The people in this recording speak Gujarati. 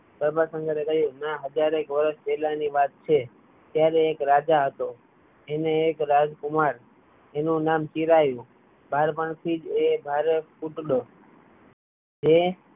પ્રભાશંકરે કહ્યું ના હજારેક વરસ પહેલાની વાત છે ત્યારે એક રાજા હતો એને એક રાજકુમાર તેનું નામ ચિરાયુ બાળપણ થી જ એ ભારે રૂપાળો જે